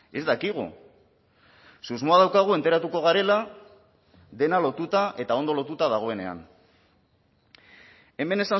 ez dakigu susmoa daukagu enteratuko garela dena lotuta eta ondo lotuta dagoenean hemen